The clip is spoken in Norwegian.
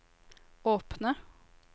åpne